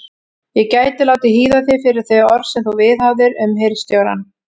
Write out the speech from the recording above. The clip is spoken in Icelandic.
Ég gæti látið hýða þig fyrir þau orð sem þú viðhafðir um hirðstjórann.